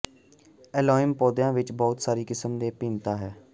ਐਲਿਓਮ ਪੌਦਿਆਂ ਵਿਚ ਬਹੁਤ ਸਾਰੀ ਕਿਸਮ ਦੀ ਭਿੰਨਤਾ ਹੈ